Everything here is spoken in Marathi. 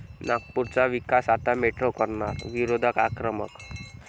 नागपुरचा विकास आता मेट्रो करणार, विरोधक आक्रमक